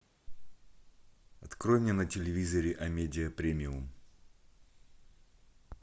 открой мне на телевизоре амедиа премиум